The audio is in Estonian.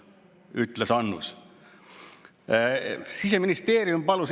Siseministeerium palus Eesti Pangal teha analüüs selle kohta, et mis põhjusel see on toimunud.